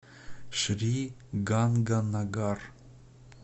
шри ганганагар